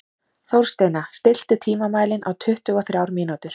Þórsteina, stilltu tímamælinn á tuttugu og þrjár mínútur.